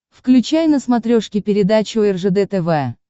включай на смотрешке передачу ржд тв